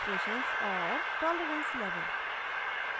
tolerance level